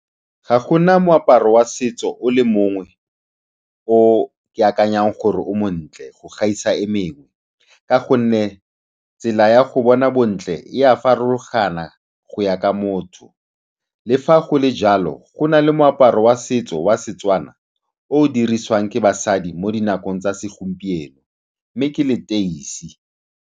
Ga go na moaparo wa setso o le mongwe o ke akanyang gore o montle go gaisa e mengwe ka gonne tsela ya go bona bontle e a farologana go ya ka motho. Le fa go le jalo, go na le moaparo wa setso wa Setswana o o dirisiwang ke basadi mo dinakong tsa segompieno, mme ke leteisi.